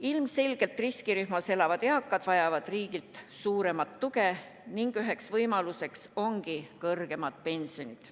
Ilmselgelt riskirühmas elavad eakad vajavad riigilt suuremat tuge ning üks võimalus ongi kõrgemad pensionid.